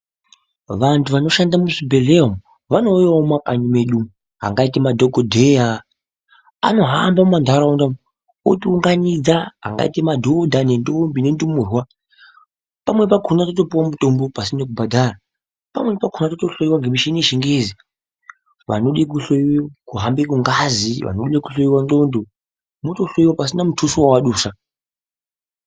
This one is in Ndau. Vanhu vanoshanda muzvibhedhleya vanouyawo mumakanyi medu, vangaita madhokodheya anohamba mumanharaunda otiunganidza angaita madhodha nendombi nendumurwa pamweni pakhona totopuwa mutombo pasina kubhadhara ,pamweni pakhona totohloiwa nemuchini wechingezi pasinamutuso wawabvisa